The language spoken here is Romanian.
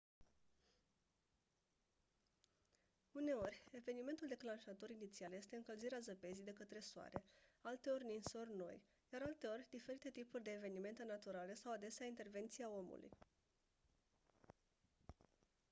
uneori evenimentul declanșator inițial este încălzirea zăpezii de către soare alteori ninsori noi iar alteori diferite tipuri de evenimente naturale sau adesea intervenția omului